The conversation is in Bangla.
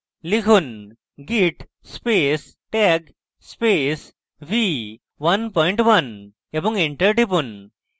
লিখুন: git space tag space v11 এবং enter টিপুন